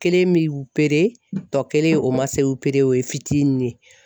Kelen bi upere tɔ kelen o man se upere ye o ye fitini ye.